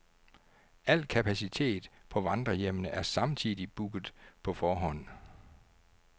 Al kapacitet på vandrerhjemmene er samtidig booket på forhånd.